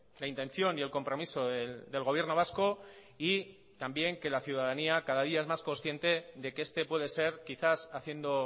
la intención y el compromiso del gobierno vasco y que también que la ciudadanía cada día es más consciente de que este puede ser quizás haciendo